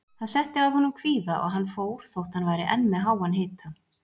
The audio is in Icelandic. Það setti að honum kvíða og hann fór þótt hann væri enn með háan hita.